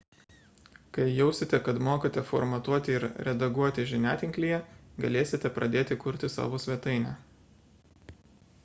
kai jausite kad mokate formatuoti ir redaguoti žiniatinklyje galėsite pradėti kurti savo svetainę